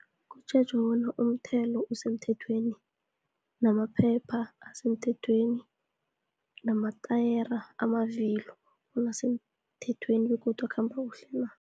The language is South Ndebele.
Kutjhejwa bona umthelo usemthethweni, namaphepha asemthethweni, namatayera, amavilo bona asemthethweni, begodu akhamba kuhle na.